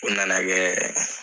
O na na gɛ